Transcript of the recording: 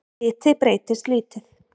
Hiti breytist lítið